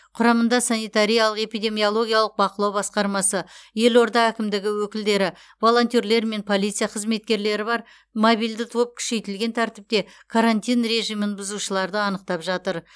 құрамында санитариялық эпидемиологиялық бақылау басқармасы елорда әкімдігі өкілдері волонтерлер мен полиция қызметкерлері бар мобильді топ күшейтілген тәртіпте карантин режимін бұзушыларды анықтап жатыр